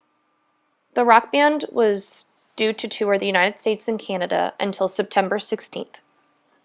the rock band was due to tour the united states and canada until september 16